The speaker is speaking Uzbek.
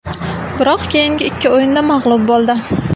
Biroq keyingi ikki o‘yinda mag‘lub bo‘ldi.